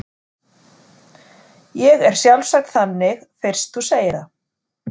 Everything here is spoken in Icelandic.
Ég er sjálfsagt þannig fyrst þú segir það.